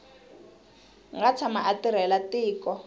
nga tshama a tirhela tiko